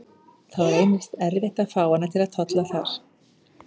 Þá reynist erfitt að fá hana til að tolla þar.